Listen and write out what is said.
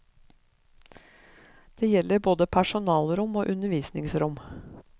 Det gjelder både personalrom og undervisningsrom.